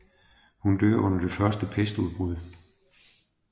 Hun dør under det første pestudbrud